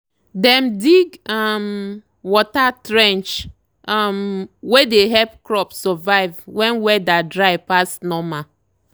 dem dig um water trench um wey dey help crop survive when weather dry pass normal.